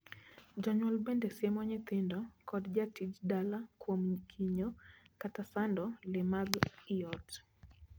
Jonyuol bende siemo nyithindo kod jatij dala kuom kinyo kata sando lee mag ii ot.